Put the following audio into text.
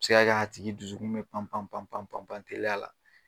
A bi se ka kɛ a tigi dusukun mɛ pan pan pan pan pan pan teliya la